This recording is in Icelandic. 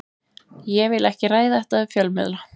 Ég vil ekki ræða þetta við fjölmiðla.